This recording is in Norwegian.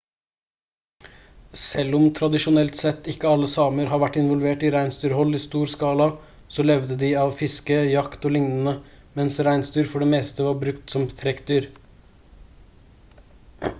selv om tradisjonelt sett ikke alle samer har vært involvert i reinsdyrhold i stor skala så levde de av fiske jakt og lignende mens reinsdyr for det meste var brukt som trekkdyr